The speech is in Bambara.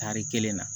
Tari kelen na